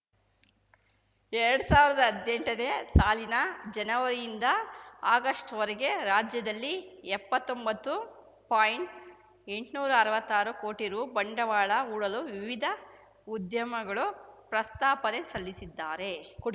ಎರಡ್ ಸಾವಿರ್ದಾ ಹದ್ನೆಂಟನೇ ಸಾಲಿನ ಜನವರಿಯಿಂದ ಆಗಸ್ಟ್‌ವರೆಗೆ ರಾಜ್ಯದಲ್ಲಿ ಎಪ್ಪತ್ತೊಂಬತ್ತು ಪಾಯಿಂಟ್ಎಂಟ್ನೂರಾ ಅರ್ವಾತ್ತಾರು ಕೋಟಿ ರು ಬಂಡವಾಳ ಹೂಡಲು ವಿವಿಧ ಉದ್ಯಮಗಳು ಪ್ರಸ್ತಾಪನೆ ಸಲ್ಲಿಸಿದ್ದಾರೆ ಕೊಡು